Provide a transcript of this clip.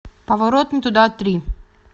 поворот не туда три